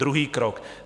Druhý krok.